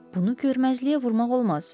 Bunu görməzliyə vurmaq olmaz.